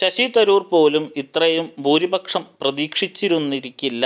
ശശിതരൂർ പോലും ഇത്രയും ഭൂരിപക്ഷം പ്രതീക്ഷിച്ചിരുന്നിരുന്നിരിക്കില്ല